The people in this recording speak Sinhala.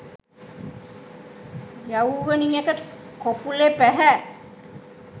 යව්වනියක කොපුළෙ පැහැ